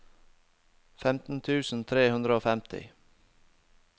femten tusen tre hundre og femti